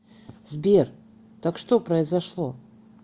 сбер так что произошло